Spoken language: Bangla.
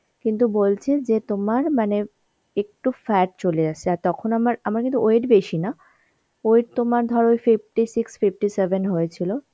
কিন্তু বলছে যে তোমার মানে একটু fat চলে আসছে আর তখন আমার আমার কিন্তু weight বেশি না, weight তোমার ধরো ওই fifty six, fifty seven হয়েছিল